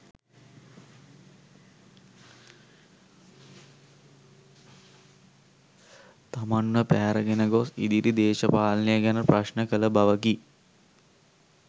තමන්ව පැහැරගෙන ගොස්‌ ඉදිරි දේශපාලනය ගැන ප්‍රශ්න කළ බවකි.